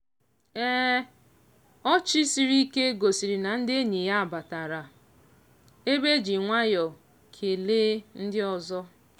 ọchị sịrị ike gosiri na ndị enyi ya batara ebe e ji nwayọ kelee ndị ọzọ.